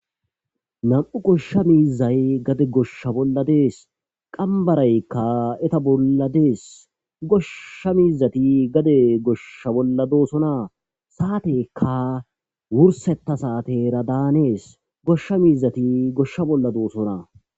Nam'u goshsha miizay gade goshsha bolla dees qambaraykka eta bolla dees goshsha miizati gade goshsha bolla doosona saatekka wursetta saate era daanees goshsha miizati goshsha bolla doosona